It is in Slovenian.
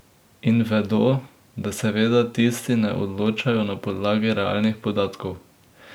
In vedo, da seveda tisti ne odločajo na podlagi realnih podatkov.